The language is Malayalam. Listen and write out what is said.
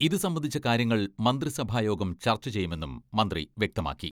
ഇതു സംബന്ധിച്ച കാര്യങ്ങൾ മന്ത്രി സഭായോഗം ചർച്ച ചെയ്യുമെന്നും മന്ത്രി വ്യക്തമാക്കി.